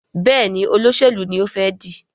Béèni Olóṣèlú ní o fè dì.